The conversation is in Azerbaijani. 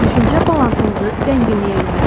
Düşüncə balansınızı zənginliyə yönəldin.